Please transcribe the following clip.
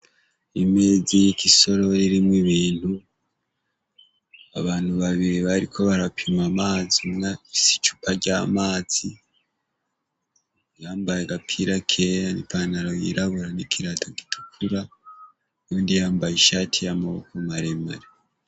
Imezirik’isorori irikw’ibintu, abantu babiri bariko barapim’amazi umwe afis’icupa ry’amazi, yambay’agapira kera n’ipantaro yirabura n’ikirato gitukura ,uwundi yambay’ishati yamaboko maremare.